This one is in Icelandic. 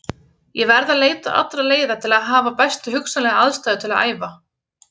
Ég verð að leita allra leiða til að hafa bestu hugsanlegu aðstæður til að æfa.